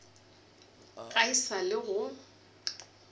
ga e sa le go